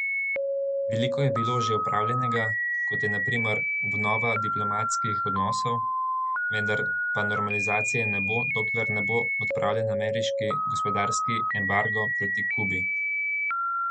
Veliko je bilo že opravljenega, kot je na primer obnova diplomatskih odnosov, vendar pa normalizacije ne bo, dokler ne bo odpravljen ameriški gospodarski embargo proti Kubi.